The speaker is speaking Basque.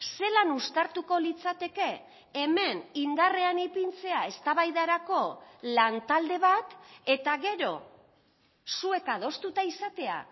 zelan uztartuko litzateke hemen indarrean ipintzea eztabaidarako lantalde bat eta gero zuek adostuta izatea